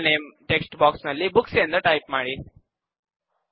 table name text box ನಲ್ಲಿ books ಎಂದು type ಮಾಡಿ